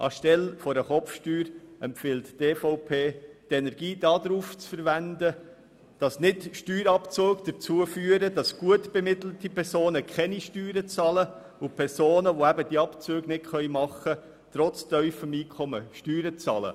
Anstelle einer Kopfsteuer empfiehlt die EVP, die Energie darauf zu verwenden, dass Steuerabzüge nicht dazu führen, dass gut bemittelte Personen keine Steuern zahlen und Personen, die diese Abzüge nicht machen können, trotz tiefem Einkommen Steuern zahlen.